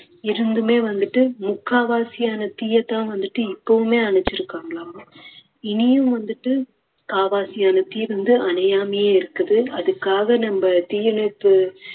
இருந்துமே வந்துட்டு முக்கால்வாசியான தீயை தான் வந்துட்டு இப்பவுமே அணைச்சுருக்காங்களாமா இனியும் வந்துட்டு கால்வாசியான தீ வந்து அணையாமயே இருக்குது அதுக்காக வந்து நம்ம தீயணைப்பு